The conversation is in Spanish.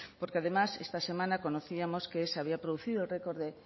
porque además esta semana conocíamos que se había producido el récord de